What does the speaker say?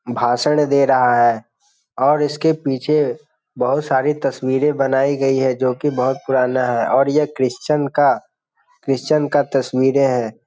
भाषण दे रहा है और इसके पीछे बहुत सारी तस्वीरे बनाई गई है जो की बहुत पुराना है और यह क्रिश्चियन का तस्वीरें हैं।